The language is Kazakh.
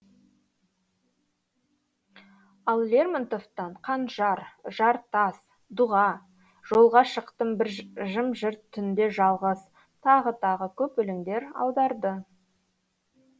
ал лермонтовтан қанжар жартас дұға жолға шықтым бір жым жырт түнде жалғыз тағы тағы көп өлеңдер аударды